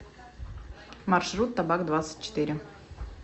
маршрут табак двадцать четыре